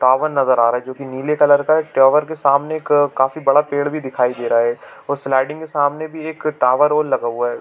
Tower नज़र आ रहा है जो की नीले कलर का है टावर के सामने एक काफी बड़ा पेड़ भी दिखाई दे रहा है और स्लाइडिंग के सामने भी एक टावर और लगा हुआ है।